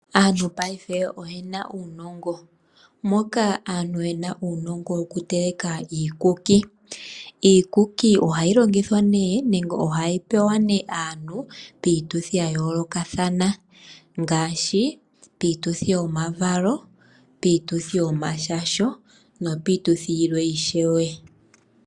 Aantu mongashingeyi oyena uunongo. Aantu oyena uunongo wokuteleka iikuki . Iikuki ohayi longithwa nenge okupewa aantu piituthi yayoolokathana ngaashi piituthi yomavalo, yomashasho nayilwe.